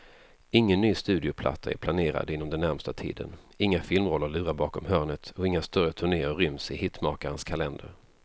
Ingen ny studioplatta är planerad inom den närmaste tiden, inga filmroller lurar bakom hörnet och inga större turnéer ryms i hitmakarens kalender.